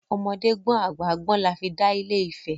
Ọmọdé gbọ́n àgbà gbọ́n la fi dá Ilé Ifẹ̀.